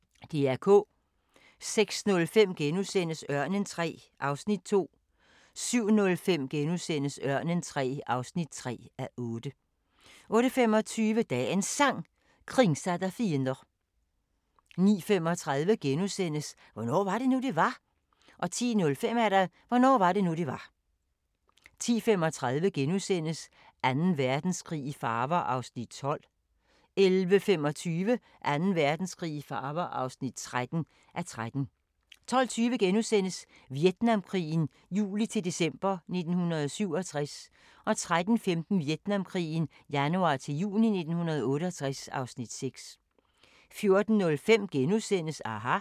06:05: Ørnen III (2:8)* 07:05: Ørnen III (3:8)* 08:25: Dagens Sang: Kringsatt av fiender 09:35: Hvornår var det nu, det var? * 10:05: Hvornår var det nu det var 10:35: Anden Verdenskrig i farver (12:13)* 11:25: Anden Verdenskrig i farver (13:13) 12:20: Vietnamkrigen juli-december 1967 (Afs. 5)* 13:15: Vietnamkrigen januar-juni 1968 (Afs. 6) 14:05: aHA! *